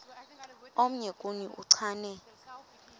omnye kuni uchane